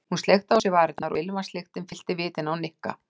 Hún sleikti á sér varirnar og ilmvatnslyktin fyllti vitin á Nikka.